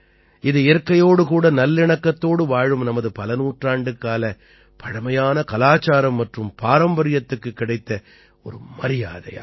இது இயற்கையோடு கூட நல்லிணக்கத்தோடு வாழும் நமது பலநூற்றாண்டுக்கால பழைமையான கலாச்சாரம் மற்றும் பாரம்பரியத்துக்குக் கிடைத்த ஒரு மரியாதை ஆகும்